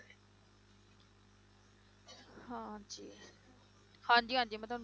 ਹਾਂਜੀ ਹਾਂਜੀ ਮੈਂ ਤੁਹਾਨੂੰ